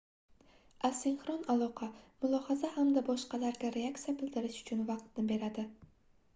asinxron aloqa mulohaza hamda boshqalarga reaksiya bildirish uchun vaqtni beradi